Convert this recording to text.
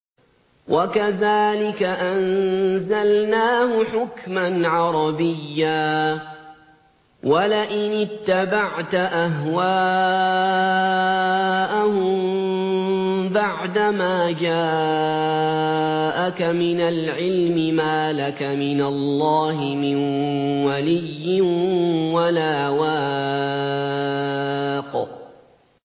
وَكَذَٰلِكَ أَنزَلْنَاهُ حُكْمًا عَرَبِيًّا ۚ وَلَئِنِ اتَّبَعْتَ أَهْوَاءَهُم بَعْدَمَا جَاءَكَ مِنَ الْعِلْمِ مَا لَكَ مِنَ اللَّهِ مِن وَلِيٍّ وَلَا وَاقٍ